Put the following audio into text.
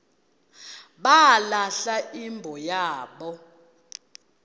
balahla imbo yabo